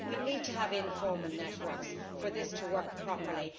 We need to have informal networks for this to work properly.